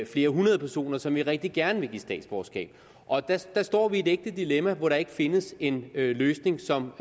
flere hundrede personer som vi rigtig gerne vil give statsborgerskab der står vi i et ægte dilemma hvor der ikke findes en løsning som